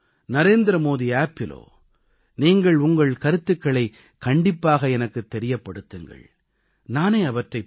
MyGovஇலோ நரேந்திர மோடி செயலியிலோ நீங்கள் உங்கள் கருத்துக்களைக் கண்டிப்பாக எனக்குத் தெரியப்படுத்துங்கள்